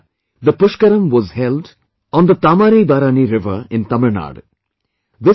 Last year the Pushkaram was held on the TaamirabaraNi river in Tamil Nadu